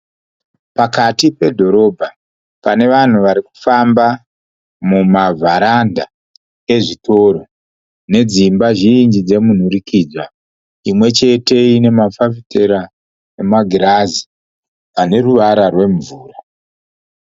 Pakati pedhorobha pane vanhu vari kufamba mumavharanda ezvitoro nedzimba zhinji dzomunhurikdzwa. Imwe chete ine mafafitera emagirazi ane ruvara rwemvura.